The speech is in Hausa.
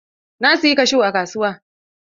Na siyi kashu a kasuwa.